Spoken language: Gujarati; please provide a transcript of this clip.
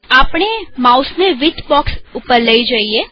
આપણે માઉસને વિડ્થ બોક્ષ પર લઇ જઈએ